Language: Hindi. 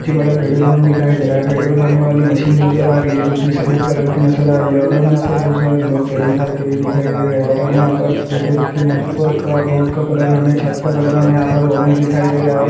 बड़ा पेट्रोल पंप दिखाई दे रहा है पेट्रोल भरने वाली मशीन नजर आ रही है जो कि सफेद कलर की नजर आ रही है और हमें यहां पर बहुत सारे लोग पेट्रोल भरते हुए दिखाई दे रहे है और हमें यहां पर इस पेट्रोल की मशीन पर रखा बोर्ड का कलर हमें छत का कलर हमें यहां पर ऑरेंज दिखाई दे रहा है और --